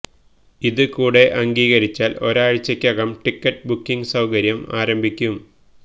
ഇത് കൂടെ അംഗീകരിച്ചാല് ഒരാഴ്ചയ്ക്കകം ടിക്കറ്റ് ബുക്കിങ് സൌകര്യം ആരംഭിക്കും